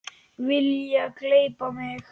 Vilja gleypa mig.